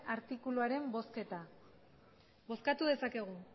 artikuluaren bozketa bozkatu dezakegu